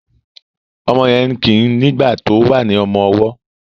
omó yén kí nigba tó wá ní ọmọ ọwó